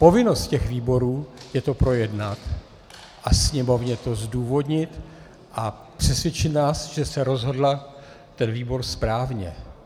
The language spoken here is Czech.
Povinnost těch výborů je to projednat a Sněmovně to zdůvodnit a přesvědčit nás, že se rozhodl ten výbor správně.